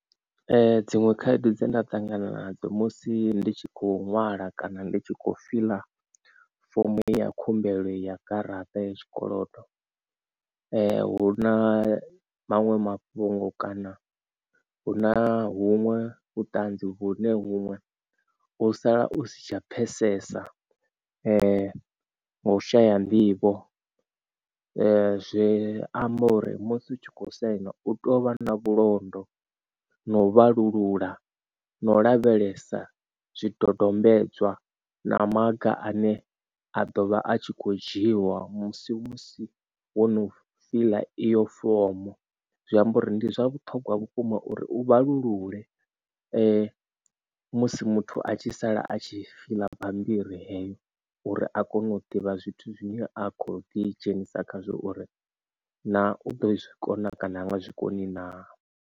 Dziṅwe khaedu dze nda ṱangana nadzo musi ndi tshi kho ṅwala kana ndi tshi kho fiḽa fomo ya khumbelo ya garaṱa ya tshikolodo hu na maṅwe mafhungo kana hu na huṅwe u ṱanzi vhune huṅwe u sala u si tsha pfesesa ngau shaya nḓivho. Zwi amba uri musi u tshi kho saina u tou vha na vhulondo na u vhalulula no lavhelesa zwidodombedzwa na maga ane a ḓovha a tshi kho dzhiwa musi musi wo no fila iyo fomo zwiamba uri ndi zwa vhuṱhogwa vhukuma uri u vhalulule musi muthu a tshi sala a tshi fiḽa bambiri heyo uri a kone u ḓivha zwithu zwine a kho ḓi dzhenisa khazwo uri na u do zwikona kana nga zwikoni naa.